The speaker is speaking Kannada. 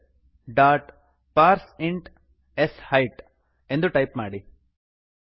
integer dot parse int s height ಎಂದು ಟೈಪ್ ಮಾಡಿ